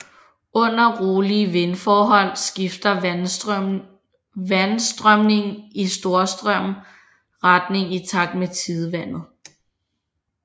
Under rolige vindforhold skifter vandstrømningen i Storstrømmen retning i takt med tidevandet